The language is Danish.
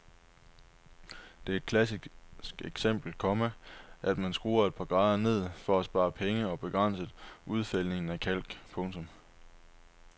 Det er et klassisk eksempel, komma at man skruer et par grader ned for at spare penge og begrænse udfældningen af kalk. punktum